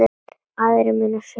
Aðrir munu sjá um það.